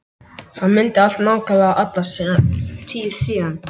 Hann mundi allt nákvæmlega alla tíð síðan.